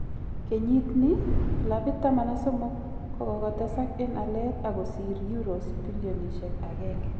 Kenyit nii, clabit13 kokotesak en alet ak kosir euros billionishek 1